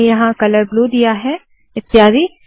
मैंने यहाँ colour blue दिया है इत्यादि